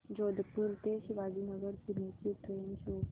जोधपुर ते शिवाजीनगर पुणे ची train show कर